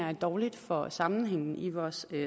er dårligt for sammenhængen i vores